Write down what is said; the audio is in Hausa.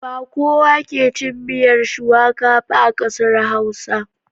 Ba kowa ke cin miyar shuwaka ba a ƙasar Hausa.